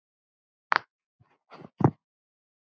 Kveðja, Árný og Logi.